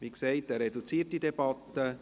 Wie gesagt, es ist eine reduzierte Debatte.